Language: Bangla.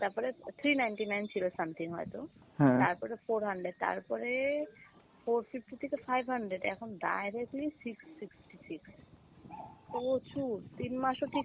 তারপরে three ninety nine ছিল something হয় তো, তারপরে four hundred, তারপরে four fifty থেকে five hundred, এখন directly six sixty six। প্রচুর তিন মাস ও ঠিক,